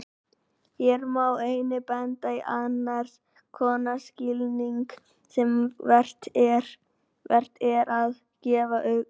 Hér má einnig benda á annars konar skilning sem vert er að gefa gaum.